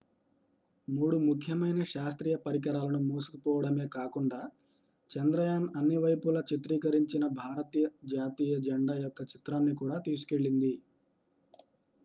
మూడు ముఖ్యమైన శాస్త్రీయ పరికరాలను మోసుకుపోడమే కాకుండా చంద్రయాన్ అన్ని వైపుల చిత్రీకరించిన భారత జాతీయ జెండా యొక్క చిత్రాన్ని కూడా తీసుకెళ్లింది